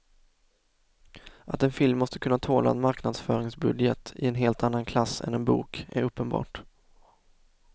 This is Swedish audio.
Att en film måste kunna tåla en marknadsföringsbudget i en helt annan klass än en bok är uppenbart.